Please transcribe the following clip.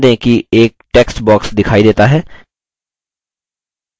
ध्यान दें कि एक text box दिखाई देता है